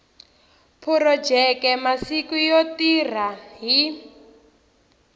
phurojeke masiku yo tirha hi